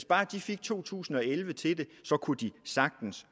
bare fik to tusind og elleve til det kunne de sagtens